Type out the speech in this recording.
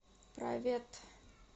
провет